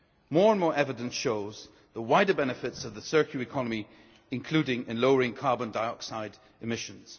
More and more evidence shows the wider benefits of the circular economy, including in lowering carbon dioxide emissions.